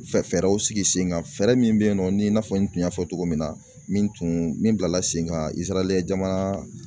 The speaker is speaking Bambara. Fɛɛrɛw sigi sen kan fɛɛrɛ min bɛ yen nɔ ni i n'a fɔ n tun y'a fɔ cogo min na min tun min bilala sen kan jamana